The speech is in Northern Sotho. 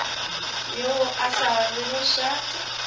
yo a sa rego šate